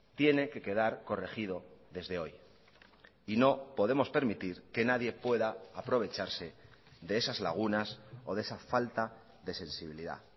tiene que quedar corregido desde hoy y no podemos permitir que nadie pueda aprovecharse de esas lagunas o de esa falta de sensibilidad